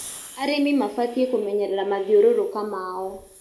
Arĩmĩ mabatĩe kũmenyerera mathĩũrũrũka mao